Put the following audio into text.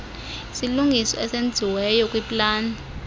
isilungiso esenziweyo kwiplani